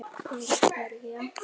Fyrir hverja